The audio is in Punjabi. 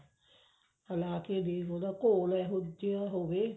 ਹਿਲਾ ਕੇ ਦੇਖ ਉਹਦਾ ਘੋਲ ਇਹੋ ਜਿਹਾ ਹੋਵੇ